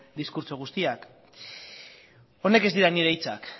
diskurtso guztiak honek ez dira nire hitzak